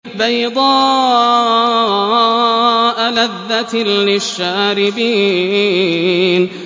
بَيْضَاءَ لَذَّةٍ لِّلشَّارِبِينَ